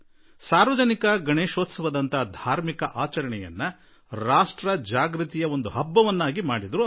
ಸಾರ್ವಜನಿಕ ಗಣೇಶೋತ್ಸವದ ಮೂಲಕ ಅವರು ಈ ಧಾರ್ಮಿಕ ಸಂದರ್ಭವನ್ನು ರಾಷ್ಟ್ರ ಜಾಗೃತಿಯ ಹಬ್ಬವನ್ನಾಗಿ ಮಾಡಿಬಿಟ್ಟರು